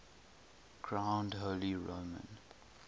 crowned holy roman